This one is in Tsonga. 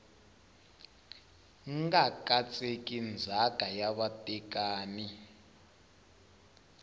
nga katseki ndzhaka ya vatekani